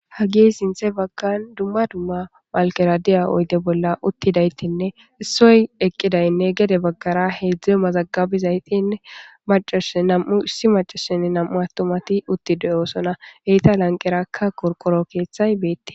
Ha gi sinthe baggan dumma dumma malkera diya oyde bolla uttidaytinne issoy eqqidaynne gede baggara heedzdze mazagabizaytinne manam'u issi macasenn nam'u attumati uttideyosona heyta lanqerakka korqoro keeththay beette.